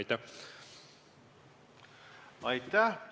Aitäh!